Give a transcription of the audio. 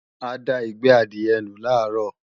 A da ìgbẹ́ adìẹ nù làárọ̀